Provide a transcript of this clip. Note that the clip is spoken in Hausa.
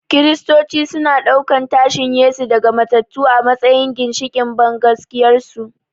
Kiristoci suna ɗaukan tashin Yesu daga matattu a matsayin ginshiƙin bangaskiyarsu.